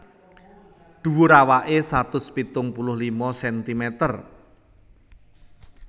Dhuwur awaké satus pitung puluh lima sentimeter